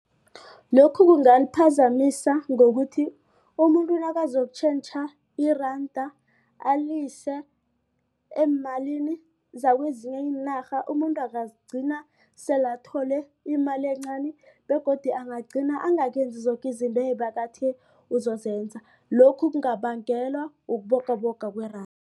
Lokhu kungaliphazamisa ngokuthi umuntu nakazokutjhentjha iranda alise eemalini zakwezinye iinarha umuntu angagcina sele athole imali encani begodu angagcina angakenzi zoke izinto ebekathe uzozenza lokhu kungabangelwa ukubogaboga kweranda.